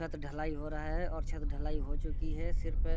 छत ढलाई हो रहा है और छत ढलाई हो चुकी है सिर्फ --